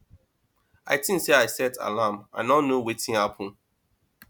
i think say i set alarm i no know wetin happen